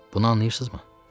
Bunu anlıyırsızmı?